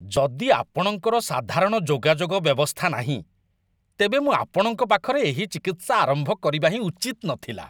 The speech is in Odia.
ଯଦି ଆପଣଙ୍କର ସାଧାରଣ ଯୋଗାଯୋଗ ବ୍ୟବସ୍ଥା ନାହିଁ, ତେବେ ମୁଁ ଆପଣଙ୍କ ପାଖରେ ଏହି ଚିକିତ୍ସା ଆରମ୍ଭ କରିବା ହିଁ ଉଚିତ୍ ନଥିଲା।